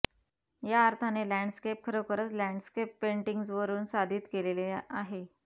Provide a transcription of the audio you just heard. या अर्थाने लँडस्केप खरोखरच लँडस्केप पेंटिग्जवरुन साधित केलेली आहे